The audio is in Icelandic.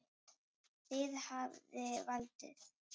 Þið hafið valdið.